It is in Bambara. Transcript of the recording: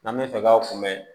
N'an bɛ fɛ k'aw kunbɛ